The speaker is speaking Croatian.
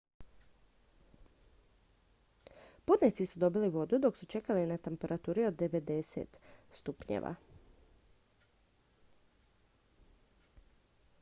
putnici su dobili vodu dok su čekali na temperaturi od 90 °f